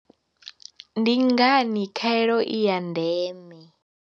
Ndi ngani khaelo i ya ndeme?